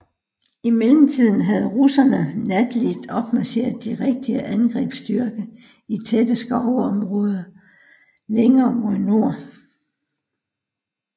I mellemtiden havde russerne natligt opmarcheret de rigtige angrebsstyrker i tætte skovområder længere mod nord